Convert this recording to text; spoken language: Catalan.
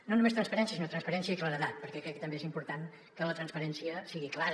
no només transparència sinó transparència i claredat perquè crec que també és important que la transparència sigui clara